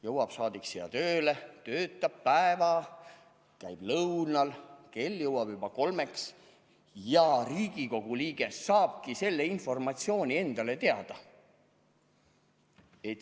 Jõuab saadik siia tööle, töötab päeva, käib lõunal, kell saab juba kolm, ja Riigikogu liige saabki selle informatsiooni teada.